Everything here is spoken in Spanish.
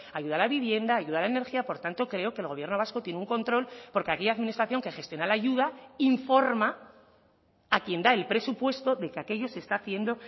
ayuda al a vivienda ayuda a la energía por tanto creo que el gobierno vasco tiene un control porque aquella administración que gestiona la ayuda informa a quien da el presupuesto de que aquello se está haciendo